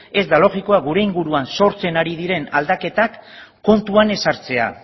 ez da logikoa gure inguruan sortzen ari diren aldaketak kontuan ez hartzea